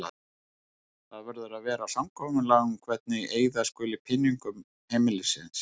Það verður að vera samkomulag um hvernig eyða skuli peningum heimilisins.